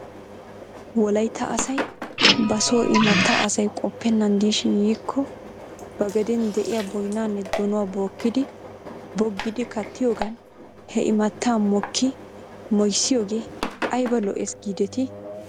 Wolaytta asay basoo imatta asay qoppennan diishin yiikko ba gaden de'iyaa boynaanne donuwaa bookkidi boggidi kattiyoogan he imaattaa moki moyssiyoogee ayba lo'ees giidetii?